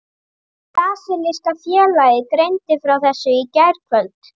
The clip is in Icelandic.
Brasilíska félagið greindi frá þessu í gærkvöld.